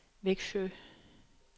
Vexjö